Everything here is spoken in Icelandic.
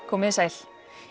komiði sæl